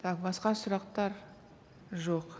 так басқа сұрақтар жоқ